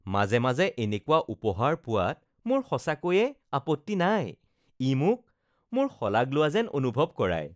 মাজে মাজে এনেকুৱা উপহাৰ পোৱাত মোৰ সঁচাকৈয়ে আপত্তি নাই। ই মোক, মোৰ শলাগ লোৱা যেন অনুভৱ কৰায়